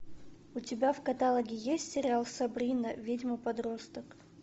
у тебя в каталоге есть сериал сабрина ведьма подросток